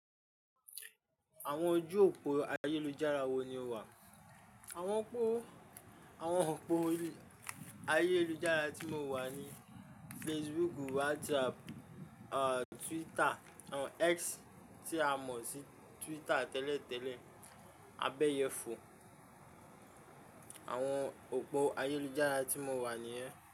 Àwọn ojú òpó ayélujára wo ni o wà? Àwọn òpó, àwọn òpó ayélujára tí mo wà ni Facebook, WhatsApp, ah, Twitter, àwọn X tí a mọ sí Twitter tẹ́lẹ̀ tẹ́lẹ̀, Abeeyefo. Àwọn òpó ayélujára tí mo wà nìyẹn.